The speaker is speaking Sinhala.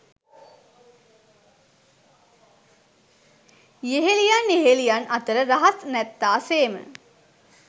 යෙහෙළියන් යෙහෙළියන් අතර රහස් නැත්තාසේම